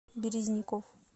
березников